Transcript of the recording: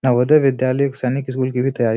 नवोदय विद्यालय एक सैनिक स्कूल की भी तैयारी --